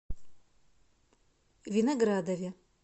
виноградове